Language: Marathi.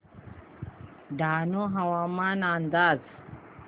डहाणू हवामान अंदाज